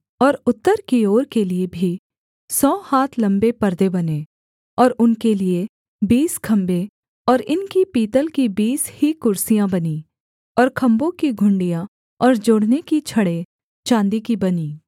और उत्तर की ओर के लिये भी सौ हाथ लम्बे पर्दे बने और उनके लिये बीस खम्भे और इनकी पीतल की बीस ही कुर्सियाँ बनीं और खम्भों की घुंडियाँ और जोड़ने की छड़ें चाँदी की बनीं